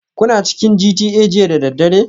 Kuna cikin GTA jiya da daddare?